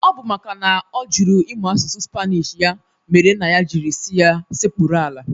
Ọ bụ maka na ọ jụrụ ịmụ asụsụ Spanish ya mere nna ya jiri si ya sekpụrụ ala